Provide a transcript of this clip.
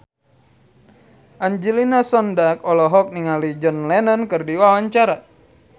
Angelina Sondakh olohok ningali John Lennon keur diwawancara